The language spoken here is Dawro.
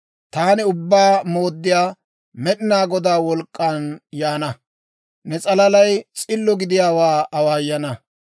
Taani Ubbaa Mooddiyaa Med'inaa Godaa wolk'k'an yaana; ne s'alalay s'illo gidiyaawaa awaayana.